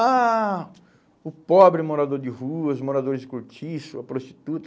Ah, o pobre morador de rua, os moradores de cortiço, a prostituta.